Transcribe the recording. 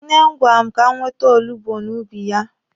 Nne m gwara m ka m wete olugbu n'ubi ya.